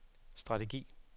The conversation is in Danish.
strategi